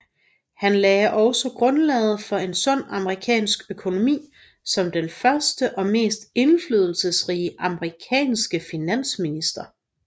Han lagde også grundlaget for en sund amerikansk økonomi som den første og mest indflydelsesrige amerikanske finansminister